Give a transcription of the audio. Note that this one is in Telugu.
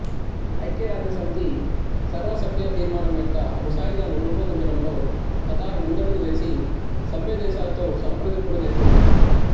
ఐక్యరాజ్యసమితి సర్వసభ్య తీర్మానం యొక్క ముసాయిదాను రూపొందించడంలో ఖతార్ ముందడుగు వేసి సభ్యదేశాలతో సంప్రదింపులు జరిపింది